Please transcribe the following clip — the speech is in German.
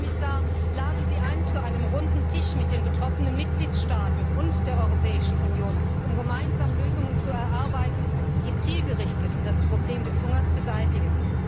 Herr Kommissar, laden Sie ein zu einem Runden Tisch mit den betroffenen Mitgliedstaaten und der Europäischen Union, um gemeinsam Lösungen zu erarbeiten, die zielgerichtet das Problem Hunger beseitigen!